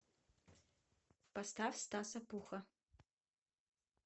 поставь стаса пухха